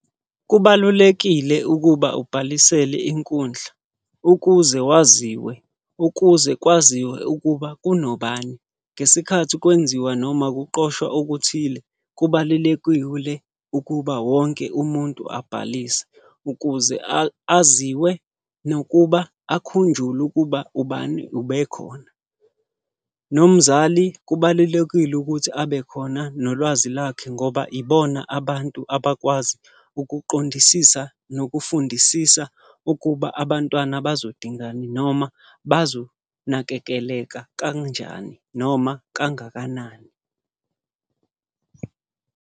Kubalulekile ukuba ubhalisele inkundla, ukuze waziwe, ukuze kwaziwe ukuba kunobani. Ngesikhathi kwenziwa noma kuqoshwa okuthile, kubalulekile ukuba wonke umuntu abhalise, ukuze aziwe nokuba akhunjulwe ukuba ubani ube khona. Nomzali kubalulekile ukuthi abe khona nolwazi lakhe ngoba ibona abantu abakwazi ukuqondisisa, nokufundisisa ukuba abantwana bazodingani noma bazonakekeleka kanjani noma kangakanani.